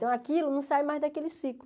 Então aquilo não sai mais daquele ciclo.